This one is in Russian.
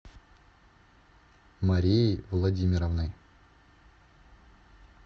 марией владимировной